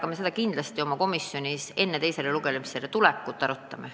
Aga me seda kindlasti oma komisjonis enne teisele lugemisele tulekut arutame.